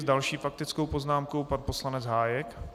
S další faktickou poznámkou pan poslanec Hájek.